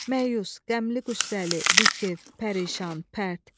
Məyus, qəmli, qüssəli, bikəf, pərişan, pərt.